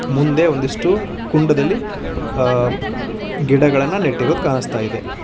ಮುಂದೆ ಒಂದಿಷ್ಟು ಕುಂಡದಲ್ಲಿ ಆ ಗಿಡಗಳನ್ನ ನೆಟ್ಟಿರೋದ್ ಕಾಣಿಸ್ತಾ ಇದೆ.